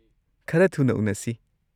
ꯈꯔ ꯊꯨꯅ ꯎꯅꯁꯤ꯫